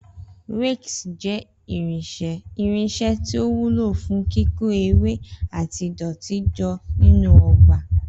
Rakes jẹ́ irinṣẹ́ tí ó wúlò fún kíkó ewé àti ìdọ̀tí jọ nínú ọgbà.